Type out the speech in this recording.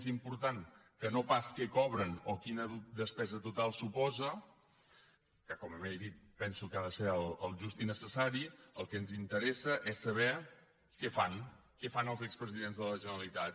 més important que no pas què cobren o quina despesa total suposa que com he dit penso que ha de ser el just i necessari el que ens interessa és saber què fan què fan els expresidents de la generalitat